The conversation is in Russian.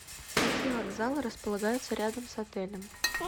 какие вокзалы располагаются рядом с отелем